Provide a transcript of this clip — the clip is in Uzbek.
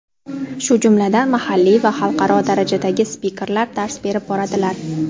shu jumladan mahalliy va xalqaro darajadagi spikerlar dars berib boradilar.